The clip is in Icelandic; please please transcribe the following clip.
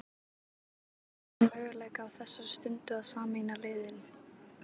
Myndir þú skoða þann möguleika á þessari stundu að sameina liðin?